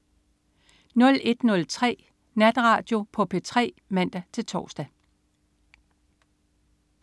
01.03 Natradio på P3 (man-tors)